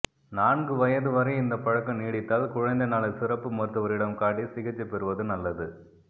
நான்கு வயது வரை இந்தப் பழக்கம் நீடித்தால் குழந்தை நல சிறப்பு மருத்துவரிடம் காட்டி சிகிச்சை பெறுவது நல்லது